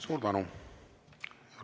Suur tänu!